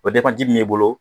O be ji min b'i bolo